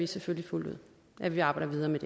selvfølgelig fuldt ud at vi arbejder videre med